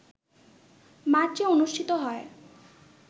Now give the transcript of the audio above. মার্চে অনুষ্ঠিত হয়